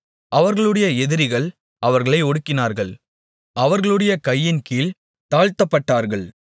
அவர்களுடைய எதிரிகள் அவர்களை ஒடுக்கினார்கள் அவர்களுடைய கையின்கீழ்த் தாழ்த்தப்பட்டார்கள்